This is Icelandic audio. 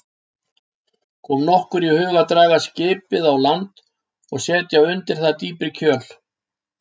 Kom okkur í hug að draga skipið á land og setja undir það dýpri kjöl.